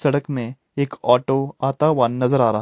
सड़क में एक ऑटो आता हुआ नजर आ रहा है।